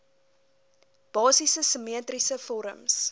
basiese simmetriese vorms